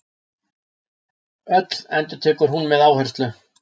Öll, endurtekur hún með áherslu.